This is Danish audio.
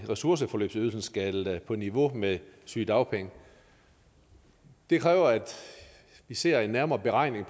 ressourceforløbsydelsen skal på niveau med sygedagpengene det kræver at vi ser en nærmere beregning